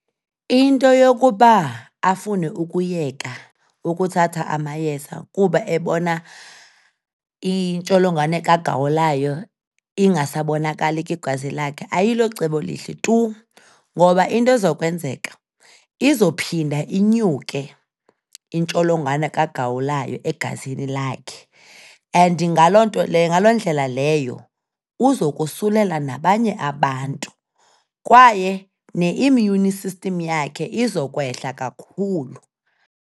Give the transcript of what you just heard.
Into yokuba afune ukuyeka ukuthatha amayeza kuba ebona intsholongwane kagawulayo ingasabonakali kwigazi lakhe ayilocebo lihle tu ngoba into ezokwenzeka, izophinde inyuke intsholongwane kagawulayo egazini lakhe, and ngaloo nto le, ngaloo ndlela leyo, uzokosulela nabanye abantu, kwaye ne-immune system yakhe izokwehla kakhulu.